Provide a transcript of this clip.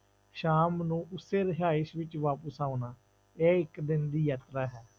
ਸ਼ਾਮ ਨੂੰ ਉਸੇ ਰਿਹਾਇਸ ਵਿੱਚ ਵਾਪਿਸ ਆਉਣਾ, ਇਹ ਇੱਕ ਦਿਨ ਦੀ ਯਾਤਰਾ ਹੈ।